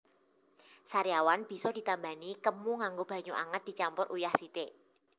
Sariawan bisa ditambani kemu nganggo banyu anget dicampur uyah sithik